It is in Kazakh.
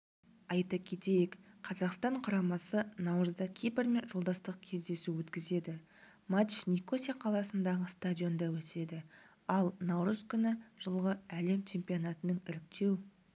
айта кетейік қазақстан құрамасы наурызда кипрмен жолдастық кездесу өткізеді матч никося қаласындағы стадионында өтеді ал наурыз күні жылғы әлем чемпионатының іріктеу